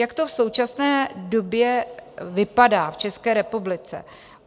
Jak to v současné době vypadá v České republice?